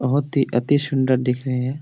बहुत ही अतिसुन्दर दिख रहे है|